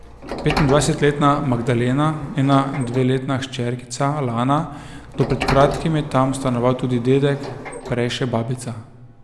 Petindvajsetletna Magdalena, njena dveletna hčerkica Lana, do pred kratkim je tam stanoval tudi dedek, prej še babica.